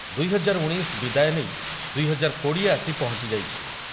ଦୁଇ ହଜାର ଉଣେଇଶ ବିଦାୟ ନେଇ ଦୁଇ ହଜାର କୋଡ଼ିଏ ଆସି ପହଞ୍ଚିଯାଇଛି।